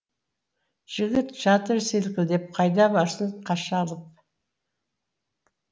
жігіт жатыр селкілдеп қайда барсын қаша алып